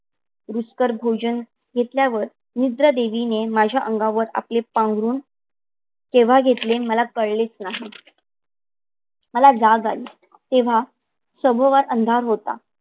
रीतसर भोजन घेतल्यावर निद्रा देवीने माझ्या अंगावर आपले पांघरून केव्हा घेतले मला कळलेच नाही. मला जाग आली तेव्हा सभोवर अंधार होता.